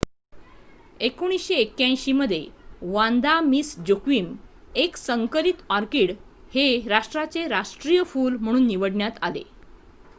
1981 मध्ये Vanda Miss Joaquim एक संकरित ऑर्किड हे राष्ट्राचे राष्ट्रीय फुल म्हणून निवडण्यात आले